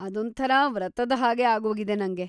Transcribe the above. ಅದೊಂಥರ ವ್ರತದ ಹಾಗೆ ಆಗೋಗಿದೆ ನಂಗೆ.